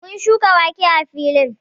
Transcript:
Mun shuka wake a filin